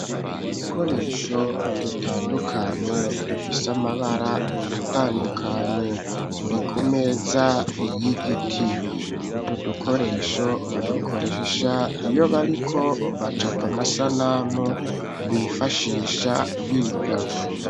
udukoresho dutandukanye dufise amabara atandukanye turi ku meza y'igiti utu dukoresho badukoresha iyo bariko bacapa amasanamu bifashisha biga